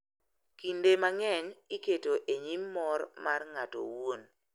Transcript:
kinde mang’eny iketo e nyim mor mar ng’ato owuon.